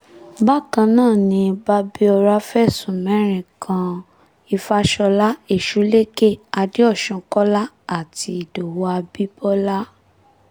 bákan náà ni babíọ́ra fẹ̀sùn mẹ́rin kan ìfàsọ̀lá ẹsúlẹ́kẹ̀ àdéosùn kọ́lá àti ìdòwú abibọlá